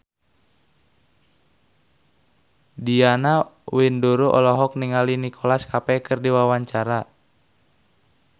Diana Widoera olohok ningali Nicholas Cafe keur diwawancara